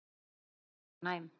Þú varst mjög næm.